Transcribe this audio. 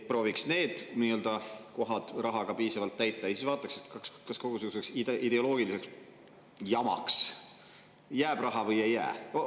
Prooviks need kohad rahaga piisavalt täita ja siis vaataks, kas kogu selliseks ideoloogiliseks jamaks jääb raha või ei jää.